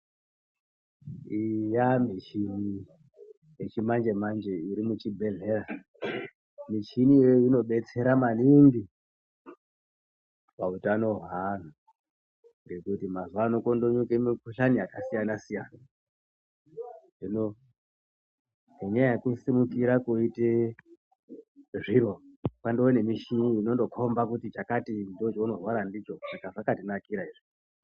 Iyi yaamichini yechimanje-manje irimuzvibhehlera. Michini iyoyo inodetsera maningi pautano hweanhu ngekuti mazuvano kondomuka mikuhlani yakasiyana-siyana. Hino nenyaya yekusimukira koite zviro, kwandoo nemichini inondokomba kuti chakati ndoochounorwara ndicho. Saka zvaktinakira izvi.